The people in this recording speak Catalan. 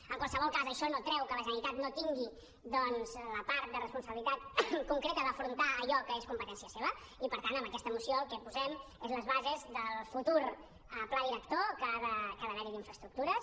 en qualsevol cas això no treu que la generalitat no tingui doncs la part de responsabilitat concreta d’afrontar allò que és competència seva i per tant amb aquesta moció el que posem són les bases del futur pla director que ha d’haver hi d’infraestructures